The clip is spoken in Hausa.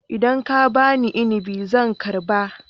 Idan ka ba ni inabi zan karba